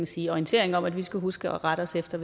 sige orientering om at vi skal huske at rette os efter